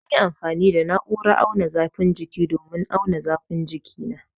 An yi amfani da na'urar auna zafin jiki domin auna zafin jikina